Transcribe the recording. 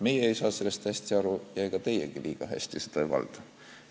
Meie ei saa sellest hästi aru ja ega teiegi liiga hästi seda ei valda.